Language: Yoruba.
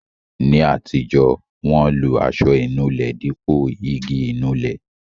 Ní àtijọ́, wọn lo aṣọ inúlẹ dípò igi Ìnulẹ̀